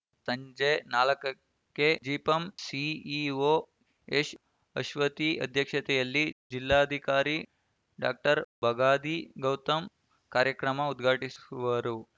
ಸಂಜೆ ನಾಲ್ಕಕ್ಕೆ ಜಿಪಂ ಸಿಇಒ ಎಸ್‌ಅಶ್ವತಿ ಅಧ್ಯಕ್ಷತೆಯಲ್ಲಿ ಜಿಲ್ಲಾಧಿಕಾರಿ ಡಾಕ್ಟರ್ ಬಗಾದಿ ಗೌತಮ್‌ ಕಾರ್ಯಕ್ರಮ ಉದ್ಘಾಟಿಸುವರು